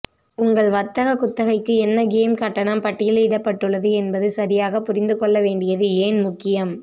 உங்கள் வர்த்தக குத்தகைக்கு என்ன கேம் கட்டணம் பட்டியலிடப்பட்டுள்ளது என்பது சரியாக புரிந்துகொள்ள வேண்டியது ஏன் முக்கியம்